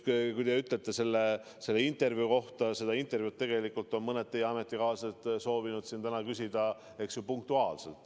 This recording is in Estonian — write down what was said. Kui te räägite sellest intervjuust, siis selle intervjuu kohta on mõned teie ametikaaslased soovinud siin täna küsida punktuaalselt.